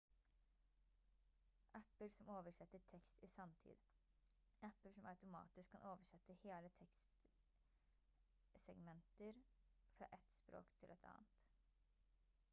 apper som oversetter tekst i sanntid apper som automatisk kan oversette hele tekstsegmenter fra ett språk til et annet